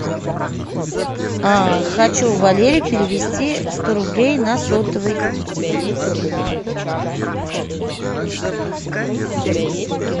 а хочу валере перевести сто рублей на сотовый